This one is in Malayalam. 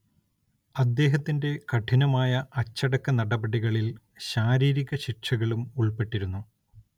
അദ്ദേഹത്തിന്റെ കഠിനമായ അച്ചടക്കനടപടികളിൽ ശാരീരിക ശിക്ഷകളും ഉൾപ്പെട്ടിരുന്നു.